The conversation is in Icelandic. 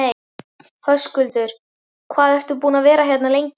Höskuldur: Hvað ertu búinn að vera hérna lengi?